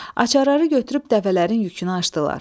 Açarları götürüb dəvələrin yükünü açdılar.